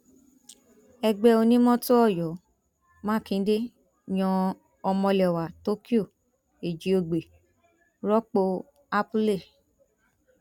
ẹgbẹ onímọtò ọyọ mákindé yan ọmọlẹwà tokyo ẹjíògbè rọpò apuley